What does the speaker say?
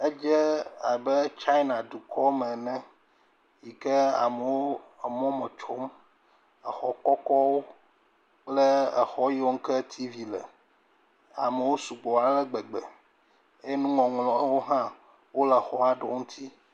Edze abe China dukɔme ene yi ke amewo emɔme tsom. Exɔ kɔkɔwo kple exɔ yiwo ke u tiivi le. Amewo sugbɔ ale gbegbe. Eye nuŋɔŋlɔwo hã wole xɔwo ŋuti.